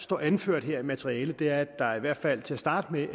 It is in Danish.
står anført her i materialet er at der i hvert fald til at starte med